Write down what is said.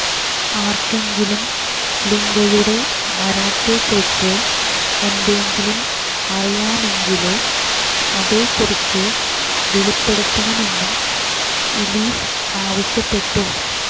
ആര്ക്കെങ്കിലും ലിഗയുടെ മരണത്തെ കുറിച്ച് എന്തെങ്കിലും അറിയാമെങ്കില് അതെ കുറിച്ച് വെളിപ്പെടുത്തണമെന്നും ഇലീസ് ആവശ്യപ്പെട്ടു